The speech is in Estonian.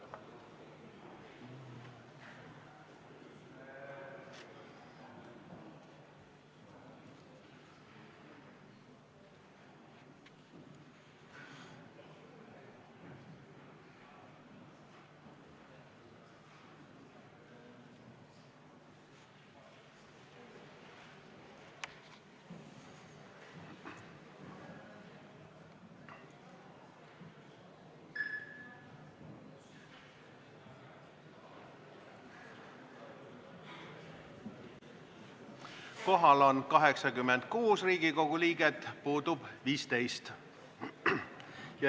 Kohaloleku kontroll Kohal on 86 Riigikogu liiget, puudub 15.